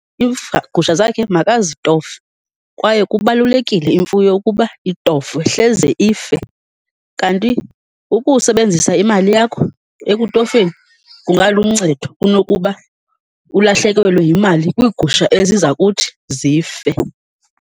gusha zakhe makazitofe kwaye kubalulekile imfuyo ukuba itofwe, hleze ife, kanti ukusebenzisa imali yakho ekutofeni kungaluncedo kunokuba ulahlekelwe yimali kwiigusha eziza kuthi zife.